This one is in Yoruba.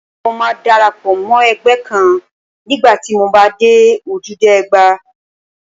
Mo máa dara pọ̀ mọ́ ẹgbẹ́ kan nígbà tí mo bá dé Ojúde Ọba.